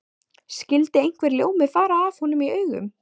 Skyldi einhver ljómi fara af honum í augum